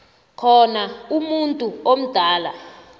khona umuntu omdala